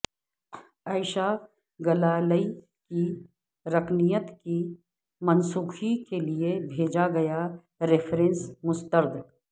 عائشہ گلالئی کی رکنیت کی منسوخی کے لیے بھیجا گیا ریفرنس مسترد